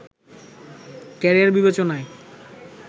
career বিবেচনায়